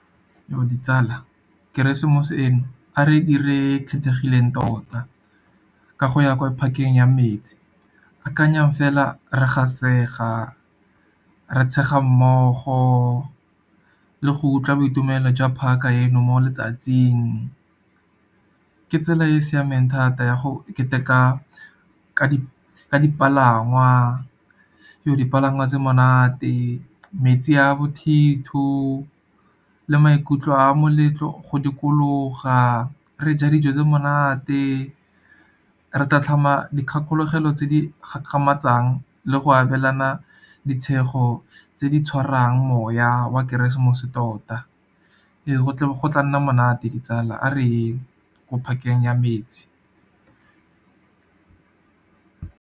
Ditsala keresemose eno a re dire e kgethegileng tota, ka go ya kwa park-eng ya metsi. Akanyang fela re gasega, re tshega mmogo le go utlwa boitumelo jwa park-a eno mo letsatsing. Ke tsela e e siameng thata ya go keteka ka dipalangwa dipalangwa tse monate, metsi a bothitho le maikutlo a moletlo go dikologa, re ja dijo tse monate. Re tla tlhoma dikgakologelo tse di kgakgamatsang le go abelana ditshego, tse di tshwarang moya oa keresemose tota. Ee, go tla nna monate ditsala a reyeng ko park-eng ya metsi.